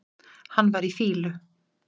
Hann var í fýlu.